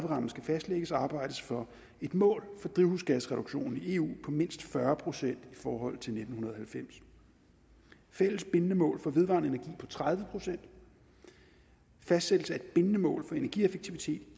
rammen skal fastlægges arbejde for et mål for drivhusgasreduktion i eu på mindst fyrre procent i forhold til nitten halvfems fælles bindende mål for vedvarende energi på tredive procent og fastsættelse af et bindende mål for energieffektivitet